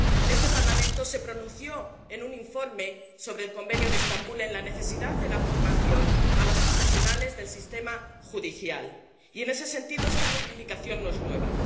Este Parlamento se pronunció, en un informe sobre el Convenio de Estambul, sobre la necesidad de formación de los profesionales del sistema judicial y, en ese sentido, esta reivindicación no es nueva.